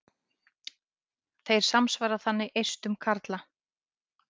Þeir samsvara þannig eistum karla.